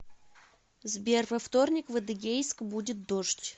сбер во вторник в адыгейск будет дождь